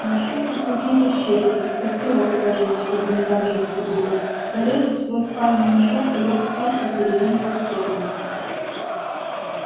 нашёл там какие-то щепки костерок сложил чтобы не так жутко было залез в свой спальный мешок и лёг спать посередине платформы